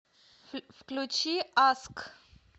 включи аск